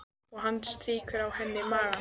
Og hann strýkur á henni magann.